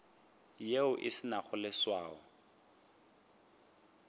yeo e se nago leswao